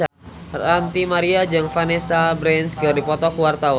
Ranty Maria jeung Vanessa Branch keur dipoto ku wartawan